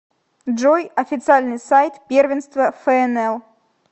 джой официальный сайт первенство фнл